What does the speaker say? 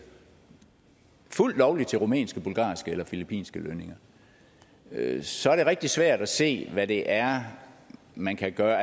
fuldt lovligt til rumænske bulgarske eller filippinske lønninger så er det rigtig svært at se hvad det er man kan gøre